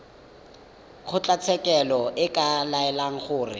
kgotlatshekelo e ka laela gore